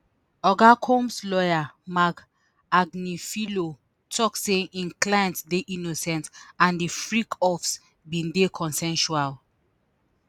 oga combs lawyer marc agnifilo tok say im client dey innocent and di freak offs bin dey consensual